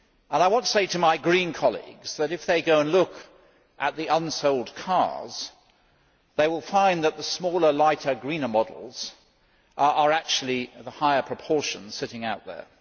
I want to say to my Green colleagues that if they go and look at the unsold cars they will find that the smaller, lighter, greener models are of a higher proportion sitting out there.